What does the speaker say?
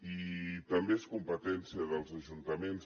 i també és competència dels ajuntaments